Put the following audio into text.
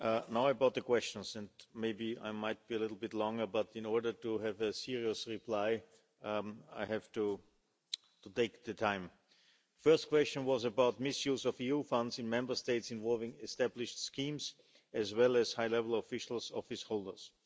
Now about the questions, and maybe I will be a little bit longer, but in order to give a serious reply, I have to take the time. The first question was about misuse of EU funds in Member States involving established schemes, as well as high level officials office holders.